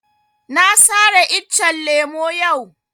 Na sare iccen lemo yau